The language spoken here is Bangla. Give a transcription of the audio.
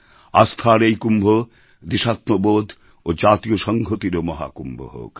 আস্থার এই কুম্ভ দেশাত্মবোধ ও জাতীয় সংহতিরও মহাকুম্ভ হোক